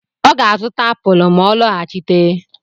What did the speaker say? Ọ ga-azụta apụl ma ọ lọghachite.